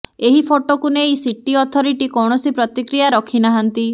ଏହି ଫଟୋକୁ ନେଇ ସିଟି ଅଥରିଟି କୈଣସି ପ୍ରତିକ୍ରିୟା ରଖି ନାହାଁନ୍ତି